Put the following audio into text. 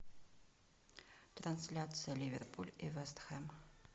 трансляция ливерпуль и вест хэм